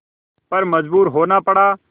पर मजबूर होना पड़ा